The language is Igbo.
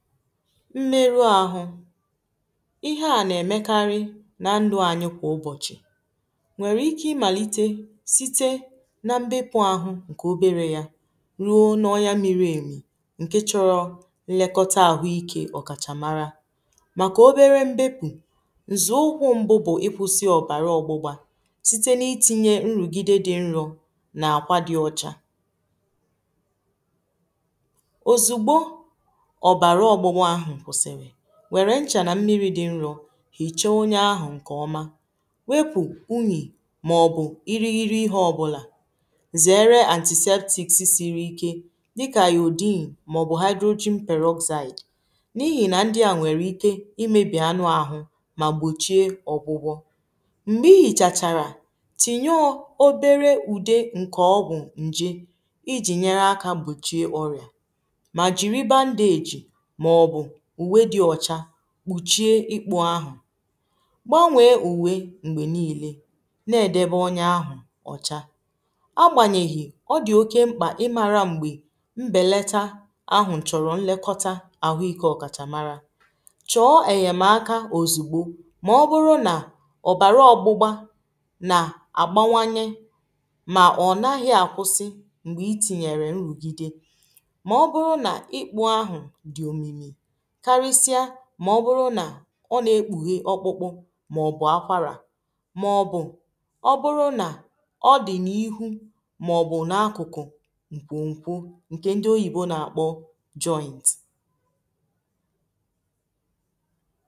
mmerụ ahụ ihe a na-emekarị na ndụ anyị kwa ụbọchị nwere ike imalite site na mbepụ ahụ nke obere ya ruo nọ ya miri emi nke chọrọ nlekọta ahụike ọkachamara maka obere mbepụ nzụụkwụ mbụ bụ ịkwụsị ọbara ọgbụgba site n’itinye nrụgide dị nrụ na akwa dị ọcha nwère nchà nà mmiri dị nrọ hì chọ onye ahụ̀ ǹkè ọma wepụ̀ unyì màọ̀bụ̀ irighiri ihe ọbụlà zèere antizetìksisiri ike dịkà yà òdiny màọ̀bụ̀ ha dròji mperrozyte n’ihì nà ndị à nwèrè ike imėbì anụ̀ ahụ̀ mà gbòchie ọ̀gwụgwọ̇ m̀gbè ihìchàchàrà tinye o obere ùde ǹkè ọgwụ̀ ǹje ijì nyere akȧ gbòchie ọrị̀à kpùchie ikpu ahụ̀ gbanwee ùwe m̀gbè niilė na-èdewė onye ahụ̀ ọ̀cha agbànyèghì ọ dị̀ oke mkpà ịmara m̀gbè mbelata ahụ̀ chọ̀rọ̀ nlekọta ahụ ikė ọ̀kàchà mara chọọ èyèmaka ozùgbo màọbụrụ nà ọ̀bàrà ọ̀gbụgba nà àgbanwanye ọ na-ekpughe ọkpụkpụ màọ̀bụ̀ akwarà màọ̀bụ̀ ọ bụrụ nà ọ dị̀ na ihu màọ̀bụ̀ n’akụ̀kụ̀ ṅkwụ̀ṅkwụ̀ ṅkè ndị oyibo na-akpọ̀ joint